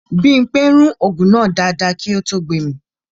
Bímpé rún ògùn náà dáadáa kí ó tó gbemì